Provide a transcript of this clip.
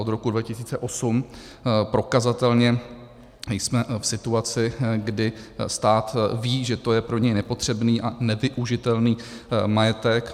Od roku 2008 prokazatelně jsme v situaci, kdy stát ví, že to je pro něj nepotřebný a nevyužitelný majetek.